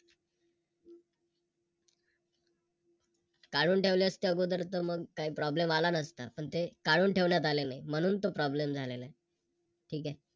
काढून ठेवले असते अगोदर तर मग काही Problem आला नसता पण ते काढून ठेवण्यात आलेले नाही म्हणून तो Problem झालेला आहे. ठीक आहे